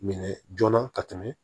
Minɛ joona ka tɛmɛ